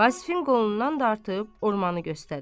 Vasifin qolundan dartıb, ormanı göstərir.